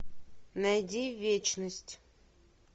найди вечность